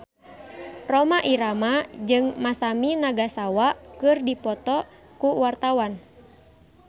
Rhoma Irama jeung Masami Nagasawa keur dipoto ku wartawan